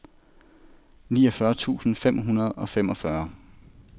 niogfyrre tusind fem hundrede og femogfyrre